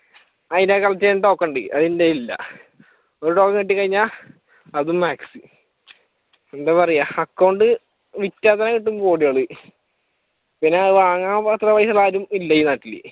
അതിനെ തോക്കുണ്ട് അതെന്റെ കയ്യിൽ ഇല്ല ഒരു തോക്ക് കിട്ടിക്കഴിഞ്ഞാൽ അതും മാക്സ് എന്താ പറയ്യാ account വിറ്റാൽ തന്നെ കിട്ടും കോടികൾ പിന്നെ അത് വാങ്ങാൻ അത്ര പൈസയുള്ള ആരും ഇല്ല ഈ നാട്ടിൽ